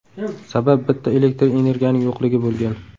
Sabab bitta elektr energiyaning yo‘qligi bo‘lgan.